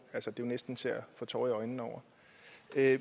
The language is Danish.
det er næsten til at få tårer i øjnene over